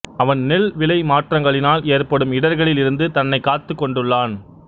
அவன் நெல் விலை மாற்றங்களினால் ஏற்படும் இடர்களில் இருந்து தன்னை காத்துக் கொண்டுள்ளான்